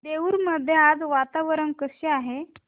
देऊर मध्ये आज वातावरण कसे आहे